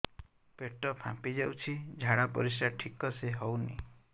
ପେଟ ଫାମ୍ପି ଯାଉଛି ଝାଡ଼ା ପରିସ୍ରା ଠିକ ସେ ହଉନି